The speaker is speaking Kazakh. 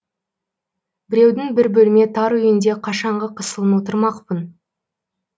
біреудің бір бөлме тар үйінде қашанғы қысылын отырмақпын